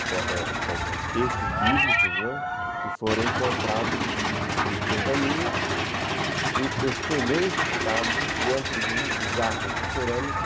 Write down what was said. São textos bíblicos que foram encontrados em pergaminhos em excelente estado, dentro de de jarras de cerâmica,